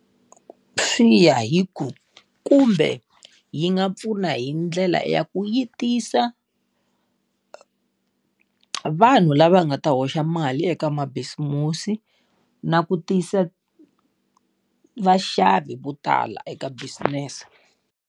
Swi ya hi ku kumbe yi nga pfuna hi ndlela ya ku yi tisa vanhu lava nga ta hoxa mali eka ma bisimusi na ku tisa vaxavi vo tala eka business-e.